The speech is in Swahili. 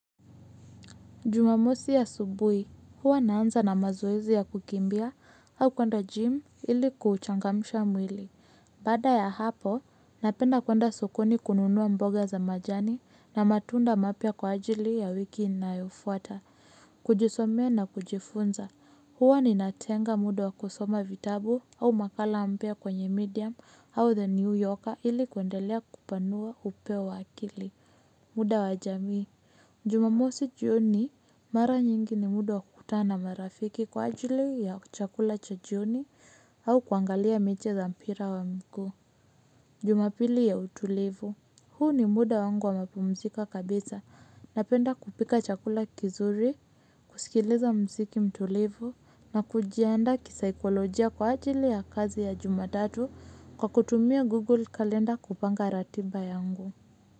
Jumamosi asubui, huwa naanza na mazoezi ya kukimbia au kwenda jimu ili kuchangamsha mwili. Baada ya hapo, napenda kwenda sukuni kununuwa mboga za majani na matunda mapya kwa ajili ya wiki inayofuata. Kujisomea na kujifunza, huwa ninatenga muda wa kusoma vitabu au makala mpya kwenye medium au the new yoka ili kuendelea kupanua upeo wa akili, muda wa jamii. Jumamosi jioni mara nyingi ni muda wakukutana na marafiki kwa ajili ya chakula cha jioni au kuangalia miche za mpira wa mguu. Jumapili ya utulivu. Huu ni muda wangu wa mapumusika kabisa napenda kupika chakula kizuri, kusikiliza mziki mtulivu na kujianda kisaikolojia kwa ajili ya kazi ya jumatatu kwa kutumia Google Calendar kupanga ratiba yangu.